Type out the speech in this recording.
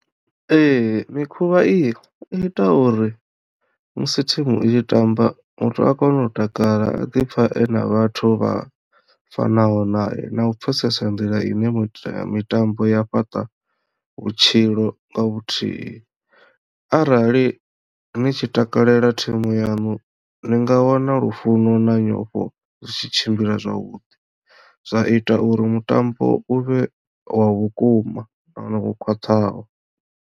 Ee mikhuvha iyi i ita uri musi thimu i tshi tamba muthu a kono u takala a ḓi pfha ena vhathu vha fanaho nae na u pfhesesa nḓila ine mita mitambo ya fhaṱa vhutshilo nga vhuthihi arali ni tshi takalela thimu yaṋu ni nga wana lufuno na nyofho zwi tshi tshimbila zwavhuḓi zwa ita uri mutambo uvhe wa vhukuma nahone wo khwaṱhaho.